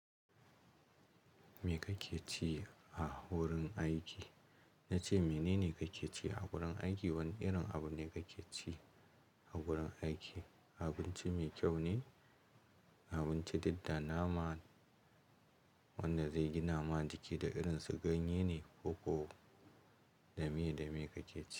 Me kake ci a wurin aiki? Ya ce mene ne kake ci a gurin aiki, wanne irin abu ne kake ci a gurin aiki? Abinci mai kyau ne, abinci duk da nama wanda zai gina ma jiki da irin su ganye ne ko ko dame dame kake ci?